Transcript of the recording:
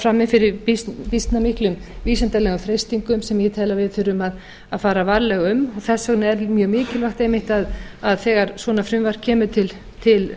frammi fyrir býsna miklum vísindalegum freistingum sem ég tel að við þurfum að fara varlega um og þess vegna er mjög mikilvægt einmitt að þegar svona frumvarp kemur til